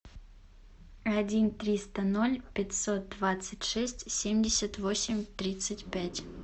один триста ноль пятьсот двадцать шесть семьдесят восемь тридцать пять